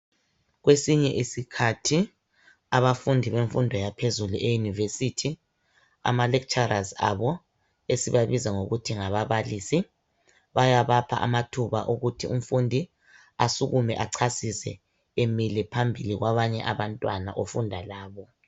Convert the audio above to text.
Kwesinye isikhathi abafundi bemfundo yaphezulu e yunivesithi ama lecturers abo esibabiza ngokuthi ngababalisi bayabapha ithuba lokuthi umfundi asukume achasise emile phambili kwabanye abantwana afunda labo.